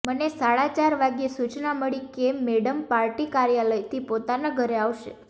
મને સાડા ચાર વાગ્યે સૂચના મળી કે મેડમ પાર્ટી કાર્યાલયથી પોતાના ઘરે આવશે